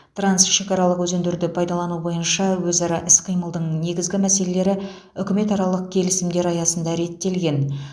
трансшекаралық өзендерді пайдалану бойынша өзара іс қимылдың негізгі мәселелері үкіметаралық келісімдер аясында реттелген